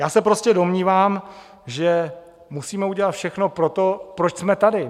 Já se prostě domnívám, že musíme udělat všechno pro to, proč jsme tady.